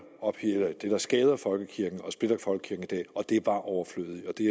skader folkekirken i dag det er bare overflødigt og det